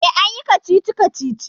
E, an yi kacici-kacici.